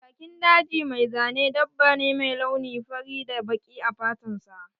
Jakin daji mai zane dabba ne mai launi fari da baƙi a fatan sa.